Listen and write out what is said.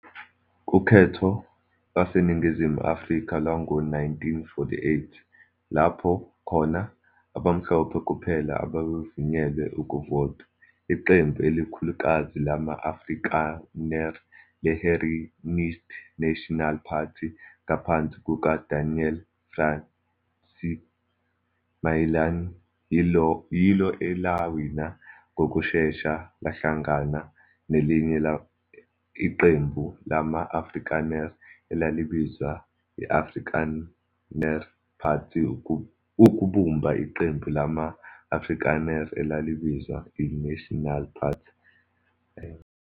Kukhetho lwaseNingizimu Afrika lwango 1948, lapho khona abamhlophe kuphela ababevunyelwe ukuvota, iqembu elikhulukazi lama-Afrikaner le-Herenigde Nasionale Party ngaphansi kuka-Daniel François Malan yilo elawina, ngokushesha lahlangana nelinye iqembu lama-Afrikaner, elalibizwa i-Afrikaner Party ukubumba iqembu lama-Afrikaner elabizwa i-National Party.